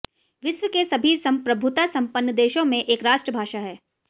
विश्व के सभी संप्रभुता संपन्न देशों में एक राष्ट्रभाषा है